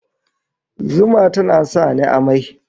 Zuma tana sa ni amai